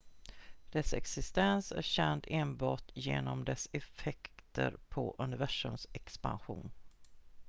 dess existens är känd enbart genom dess effekter på universums expansion